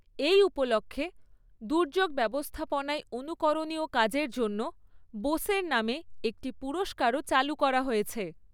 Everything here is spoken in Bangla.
এই উপলক্ষে, দুর্যোগ ব্যবস্থাপনায় অনুকরণীয় কাজের জন্য বোসের নামে একটি পুরস্কারও চালু করা হয়েছে।